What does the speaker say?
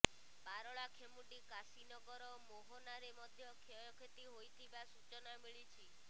ପାରଳାଖେମୁଣ୍ଡି କାଶୀନଗର ମୋହନାରେ ମଧ୍ୟ କ୍ଷୟକ୍ଷତି ହୋଇଥିବା ସୂଚନା ମିଳିଛି